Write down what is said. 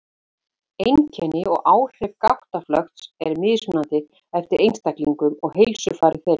Einkenni og áhrif gáttaflökts eru mismunandi eftir einstaklingum og heilsufari þeirra.